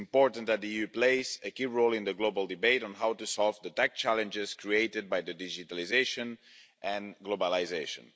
It is important that the EU plays a key role in the global debate on how to solve the tax challenges created by digitalisation and globalisation.